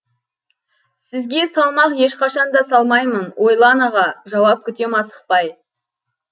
сізге салмақ ешқашан да салмаймын ойлан аға жауап күтем асықпай